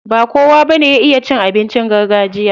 Ba kowa bane ya iya cin abincin gargajiya.